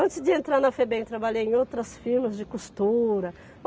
Antes de entrar na Febem, trabalhei em outras firmas de costura.